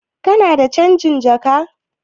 Kana da canjin jaka?